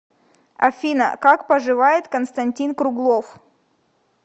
афина как поживает константин круглов